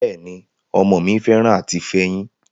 Bẹ́ẹ̀ ni, ọmọ mi fẹ́ràn àti fẹyín,